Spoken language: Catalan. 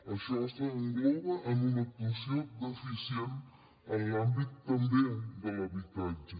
això s’engloba en una actuació deficient en l’àmbit també de l’habitatge